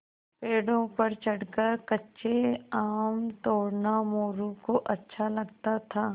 पेड़ों पर चढ़कर कच्चे आम तोड़ना मोरू को अच्छा लगता था